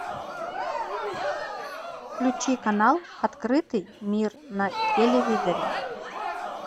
включи канал открытый мир на телевизоре